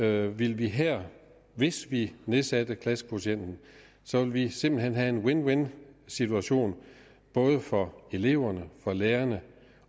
ville vi her hvis vi nedsatte klassekvotienten simpelt simpelt hen have en win win situation både for eleverne for lærerne